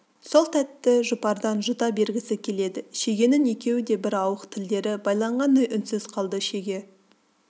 сол тәтті жұпардан жұта бергісі келеді шегенің екеуі де бір ауық тілдері байланғандай үнсіз қалды шеге